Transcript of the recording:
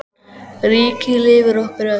Ríkið lifir okkur öll.